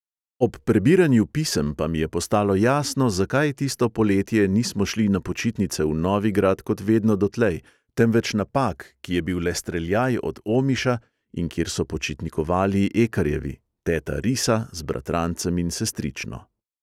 Ob prebiranju pisem pa mi je postalo jasno, zakaj tisto poletje nismo šli na počitnice v novigrad kot vedno dotlej, temveč na pag, ki je bil le streljaj od omiša in kjer so počitnikovali ekarjevi, teta risa z bratrancem in sestrično.